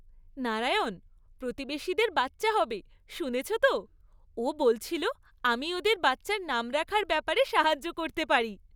নারায়ণ, প্রতিবেশীদের বাচ্চা হবে, শুনেছো তো? ও বলছিল আমি ওদের বাচ্চার নাম রাখার ব্যাপারে সাহায্য করতে পারি।